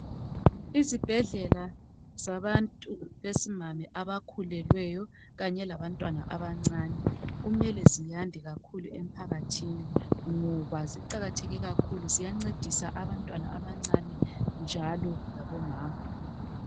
izibhedlela zabantu besimami abakhulelweyo kanye labantwana abancane kumele ziyande kakhulu emphakathini ngoba ziqakatheke kakhulu ziyancedisa abantwana abancane njalo labo mama